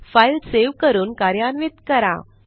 file save करून कार्यान्वित करा